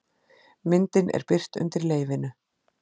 Myndin er birt undir leyfinu